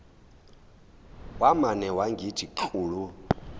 wamane wangithi klulu